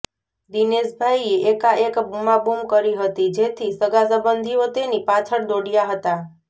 દિનેશભાઇએ એકાએક બુમાબુમ કરી હતી જેથી સગાં સબંધીઓ તેની પાછળ દોડ્યા હતા